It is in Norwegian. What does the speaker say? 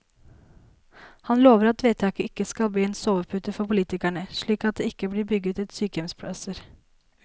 Han lover at vedtaket ikke skal bli en sovepute for politikerne, slik at det ikke blir bygget ut sykehjemsplasser.